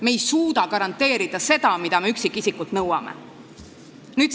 Me ei suuda garanteerida seda, mida me üksikisikult nõuame.